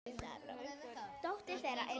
Haukur: Er hann góður?